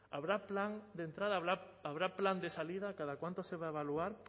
habrá plan de entrada habrá plan de salida cada cuánto se va a evaluar